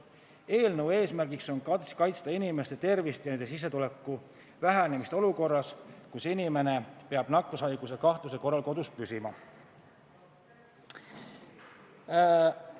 Eelnõu eesmärk on kaitsta inimeste tervist ja nende sissetuleku vähenemist olukorras, kus inimene peab nakkushaiguse kahtluse korral püsima kodus.